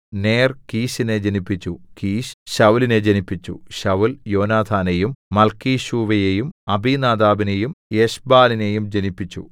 നേർ കീശിനെ ജനിപ്പിച്ചു കീശ് ശൌലിനെ ജനിപ്പിച്ചു ശൌല്‍ യോനാഥാനെയും മല്‍ക്കീശൂവയെയും അബീനാദാബിനെയും എശ്ബാലിനെയും ജനിപ്പിച്ചു